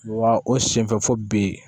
Wa o senfɛ fo bi